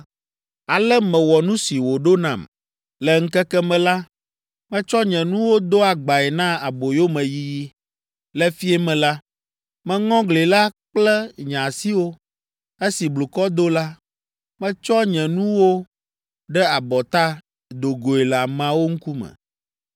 Ale mewɔ nu si wòɖo nam. Le ŋkeke me la, metsɔ nye nuwo do agbae na aboyomeyiyi. Le fiẽ me la, meŋɔ gli la kple nye asiwo. Esi blukɔ do la, metsɔ nye nuwo ɖe abɔta, do goe le ameawo ŋkume.